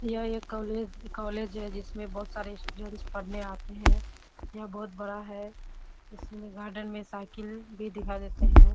यह एक college college है जिसमें बोहोत सारे स्टूडेंट्स पढ़ने आते हैं। यह बोहोत बड़ा है। इसमें गार्डन में साइकिल भी दिखाई देते हैं ।